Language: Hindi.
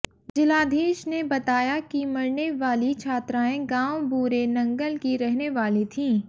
जिलाधीश ने बताया की मरने वाली छात्राएं गांव बूरे नंगल की रहने वाली थीं